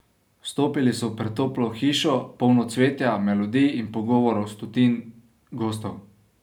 Vstopili so v pretoplo hišo, polno cvetja, melodij in pogovorov stotin gostov.